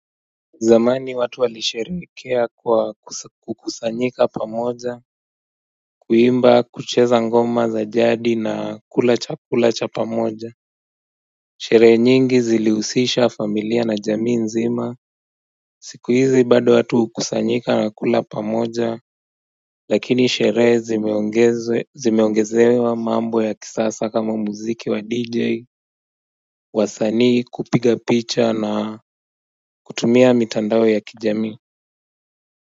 Zamani watu walisherehekea kwa kukusanyika pamoja, kuimba, kucheza ngoma za jadi na kula chakula cha pamoja sherehe nyingi zilihusisha familia na jamii nzima siku hizi bado watu hukusanyika na kula pamoja lakini sherehe zimeongezewa mambo ya kisasa kama muziki wa dj wasanii kupiga picha na kutumia mitandao ya kijamii